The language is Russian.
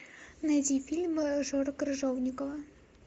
найди фильмы жоры крыжовникова